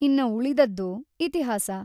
ಇನ್ನ ಉಳಿದದ್ದು ಇತಿಹಾಸ!